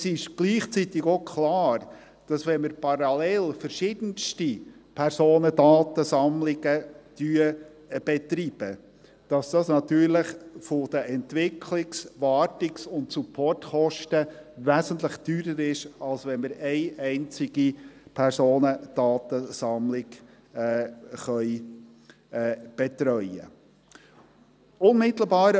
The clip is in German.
Es ist gleichzeitig auch klar, dass es, wenn wir parallel verschiedenste Personendatensammlungen betreiben, natürlich von den Entwicklungs-, Wartungs- und Supportkosten her wesentlich teurer ist, als wenn wir eine einzige Personendatensammlung betreuen können.